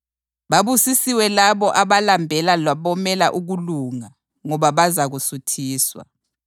Babusisiwe labo abalambela labomela ukulunga ngoba bazakusuthiswa.